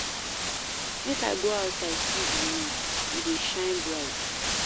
Make I go outside see di moon, e dey shine bright.